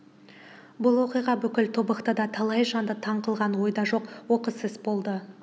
бұл оқиға бүкіл тобықтыда талай жанды таң қылған ойда жоқ оқыс іс болды